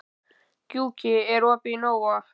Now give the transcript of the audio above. Gjúki, er opið í Nova?